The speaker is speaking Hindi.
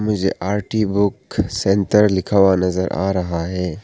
मुझे आरती बुक सेंटर लिखा हुआ नजर आ रहा है।